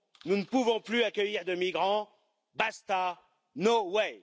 Nous ne pouvons plus accueillir de migrants. Basta No way